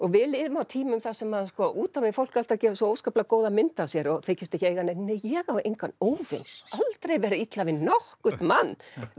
við lifum á tímum þar sem út á við fólk er alltaf að gefa svo óskaplega góða mynd af sér og þykjast ekki eiga neinn nei ég á engan óvin aldrei verið illa við nokkurn mann